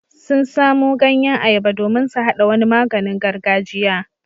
Sun samo ganyen ayaba domin su haɗa wani maganin gargajiya.